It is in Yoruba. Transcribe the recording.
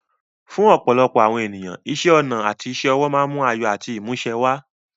Fún ọ̀pọ̀lọpọ̀ àwọn ènìyàn, iṣẹ́ ọnà àti iṣẹ́ ọwọ́ máa ń mú ayọ̀ àti ìmúṣẹ wá.